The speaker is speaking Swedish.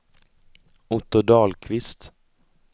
Otto Dahlqvist